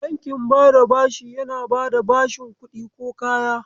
Bankin bada bashi yana bada bashin kuɗi ko kaya.